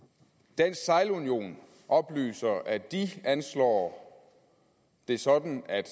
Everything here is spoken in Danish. dansk sejlunion oplyser at de anslår det sådan at